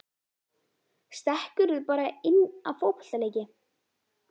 Stekkurðu bara inn á fótboltaleiki?